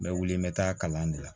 N bɛ wili n bɛ taa kalan de la